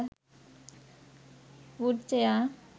wood chair